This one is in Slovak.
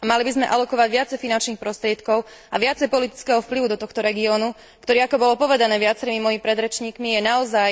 Mali by sme alokovať viacej finančných prostriedkov a viacej politického vplyvu do tohto regiónu, ktorý ako bolo povedané viacerými mojimi predrečníkmi, je naozaj